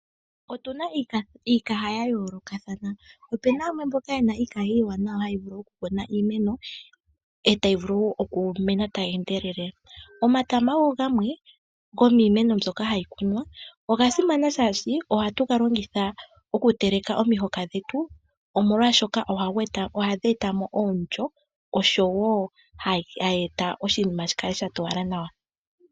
Otuna iikaha yayoolokathana, opena yamwe mboka yena iikaha iiwanawa okukuna iimeno etayi vulu okumena tayi endelele. Omatama ogo gamwe gomiimeno mbyoka hayi kunwa. Ogasimana shaashi ohatu galongitha okuteleka omihoka dhetu omolwaashoka ohadheeta mo omulyo, oshowo hayeeta oshinima shikale shatowala nawa.